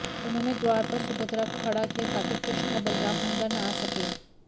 उन्होंने द्वार पर सुभद्रा को खड़ा किया ताकि कृष्ण और बलराम अंदर न आ सकें